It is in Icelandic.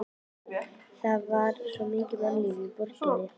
Það var mikið mannlíf í borginni.